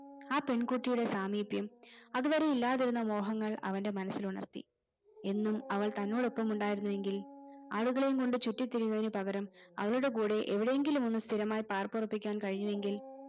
ആ പെൺ കുട്ടിയുടെ സാമിപ്യം അതുവരെ ഇല്ലാതിരുന്ന മോഹങ്ങൾ അവന്റെ മനസ്സിൽ ഉണർത്തി എന്നും അവൾ തന്നോടൊപ്പം ഉണ്ടായിരുന്നെങ്കിൽ ആടുകളെയും കൊണ്ട് ചുറ്റിത്തിരിയുന്നതിന് പകരം അവളുടെ കൂടെ എവിടെയെങ്കിലും ഒന്ന് സ്ഥിരമായി ഒന്ന് പാർപ്പുറപ്പിക്കാൻ കഴിഞ്ഞുവെങ്കിൽ